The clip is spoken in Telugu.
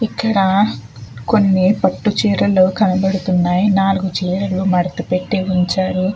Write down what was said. ఇక్కడ కొన్ని పట్టు చీరలు కనబడుతూ ఉన్నాయి. నాలుగు చీరలు మడత పెట్టి ఉంచారు.